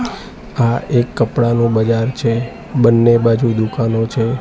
આ એક કપડાનું બજાર છે બન્ને બાજુ દુકાનો છે.